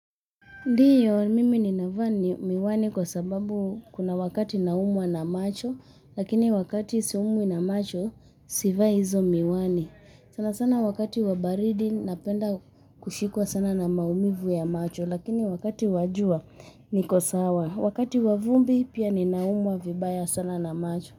Ndiyo mimi ninavaa miwani kwa sababu kuna wakati naumwa na macho, lakini wakati siumwi na macho sivai hizo miwani sana sana wakati wa baridi napenda kushikwa sana na maumivu ya macho, lakini wakati wa jua niko sawa. Wakati wa vumbi pia ninaumwa vibaya sana na macho.